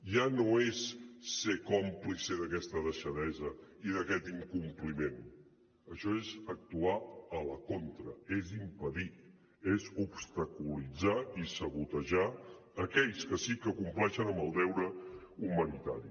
ja no és ser còmplice d’aquesta deixadesa i d’aquest incompliment això és actuar a la contra és impedir és obstaculitzar i sabotejar aquells que sí que compleixen amb el deure humanitari